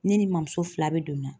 Ne ni n mɔmuso fila bɛɛ donna